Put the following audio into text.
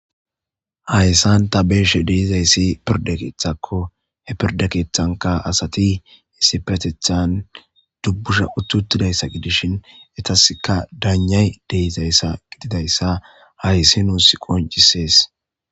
Hayssan ta beeshe deizayssi pirde keethakko he pirdekeethanka asati issipetethan dubbusha uttutidayssa gidishin etaska daanjay deizayssa gididayssa hayssi nuus qoncisees.